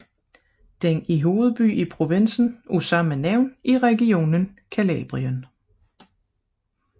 Den er hovedby i provinsen af samme navn i regionen Calabrien